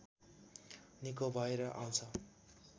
निको भएर आउँछ